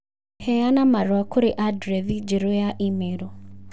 Heana marũa kũrĩ andirethi njerũ ya i-mīrū